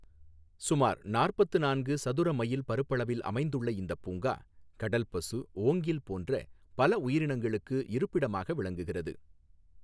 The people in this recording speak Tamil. சுமார் நாற்பத்து நான்கு சதுர மைல் பரப்பளவில் அமைந்துள்ள இந்தப் பூங்கா, கடல் பசு, ஓங்கில் போன்ற பல உயிரினங்களுக்கு இருப்பிடமாக விளங்குகிறது.